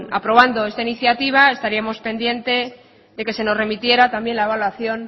aprobando esta iniciativa estaríamos pendientes de que se nos remitiera también la evaluación